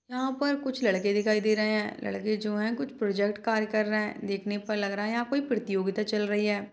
यहाँ पर कुछ लड़के दिखाई दे रहे है लड़के जो हैं कुछ प्रोजेक्ट कार्य कर रहे है देखनें पर लग रहा है यहाँ कोई प्रतियोगिता चल रही है।